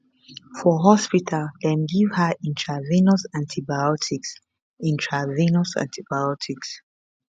for hospital dem give her intravenous antibiotics intravenous antibiotics